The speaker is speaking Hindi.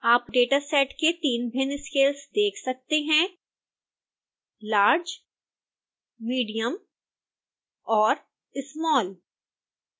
आप dataset के तीन भिन्न scales देख सकते हैं large medium और small